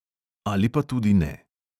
Ali pa tudi ne.